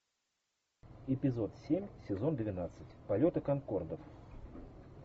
эпизод семь сезон двенадцать полеты конкордов